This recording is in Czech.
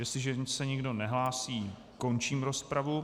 Jestliže se nikdo nehlásí, končím rozpravu.